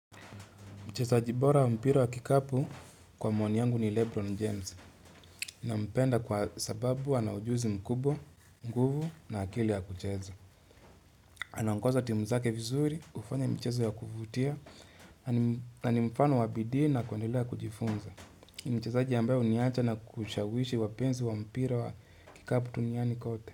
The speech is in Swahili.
Mchezaji bora wa mpira wa kikapu kwa maoni yangu ni Lebron James nampenda kwa sababu ana ujuzi mkubwa, nguvu na akili ya kucheza. Anaongoza timu zake vizuri, hufanya michezo ya kuvutia, nani mfano wabidii na kuendelea kujifunza. Mchezaji ambaye huniacha na kushawishi wapenzi wa mpira wa kikapu duniani kote.